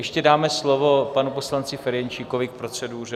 Ještě dáme slovo panu poslanci Ferjenčíkovi k proceduře.